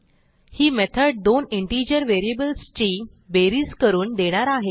ही method दोन integer व्हेरिएबल्सची बेरीज करून देणार आहे